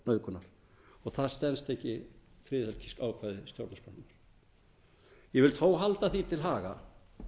nauðgunar og það stenst ekki friðhelgisákvæði stjórnarskrárinnar ég vil þó halda því til haga